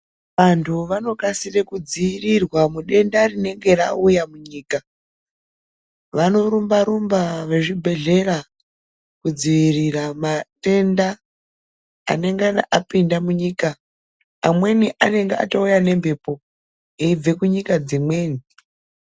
Antu vanokasire kudziirirwa mudenda rinenge rauya munyika. Vanorumba rumba vezvibhehlera kudziirira madenda anengana apinda munyika. Amweni anenge auya nemhepo kubva kunyika dzimweni.